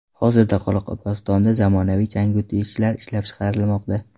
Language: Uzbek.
Hozirda Qoraqalpog‘istonda zamonaviy changyutgichlar ishlab chiqarilmoqda.